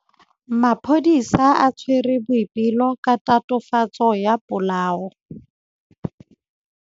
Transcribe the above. Maphodisa a tshwere Boipelo ka tatofatsô ya polaô.